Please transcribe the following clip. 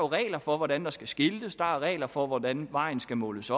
regler for hvordan der skal skiltes der er regler for hvordan vejen skal måles